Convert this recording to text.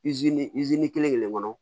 kelen kelen kɔnɔ